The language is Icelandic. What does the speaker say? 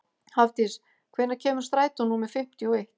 Hafdís, hvenær kemur strætó númer fimmtíu og eitt?